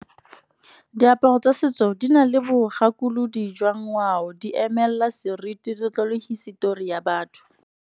Diaparo tsa setso di na le bogakolodi jwa ngwao di emelela seriti, letlole, hisetori ya batho.